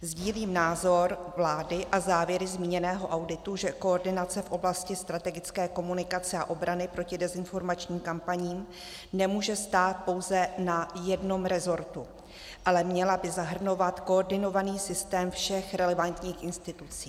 Sdílím názor vlády a závěry zmíněného auditu, že koordinace v oblasti strategické komunikace a obrany proti dezinformačním kampaním nemůže stát pouze na jednom resortu, ale měla by zahrnovat koordinovaný systém všech relevantních institucí.